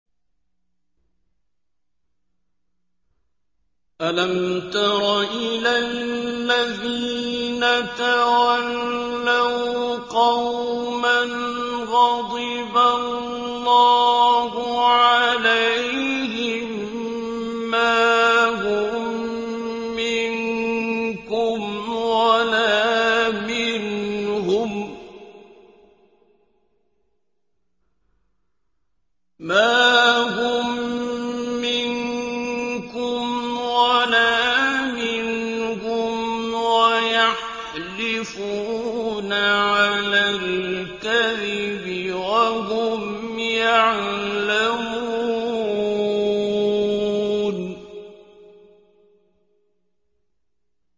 ۞ أَلَمْ تَرَ إِلَى الَّذِينَ تَوَلَّوْا قَوْمًا غَضِبَ اللَّهُ عَلَيْهِم مَّا هُم مِّنكُمْ وَلَا مِنْهُمْ وَيَحْلِفُونَ عَلَى الْكَذِبِ وَهُمْ يَعْلَمُونَ